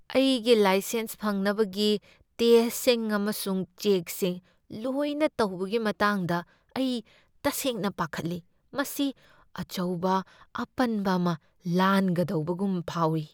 ꯑꯩꯒꯤ ꯂꯥꯏꯁꯦꯟꯁ ꯐꯪꯅꯕꯒꯤ ꯇꯦꯁꯠꯁꯤꯡ ꯑꯃꯁꯨꯡ ꯆꯦꯛꯁꯤꯡ ꯂꯣꯏꯅ ꯇꯧꯕꯒꯤ ꯃꯇꯥꯡꯗ ꯑꯩ ꯇꯁꯦꯡꯅ ꯄꯥꯈꯠꯂꯤ꯫ ꯃꯁꯤ ꯑꯆꯧꯕ ꯑꯄꯟꯕ ꯑꯃ ꯂꯥꯟꯒꯗꯧꯕꯒꯨꯝ ꯐꯥꯎꯏ ꯫